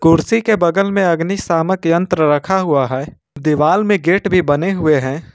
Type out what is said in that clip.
कुर्सी के बगल में अग्निशामन यंत्र रखा हुआ है दीवाल में गेट भी बने हुए हैं।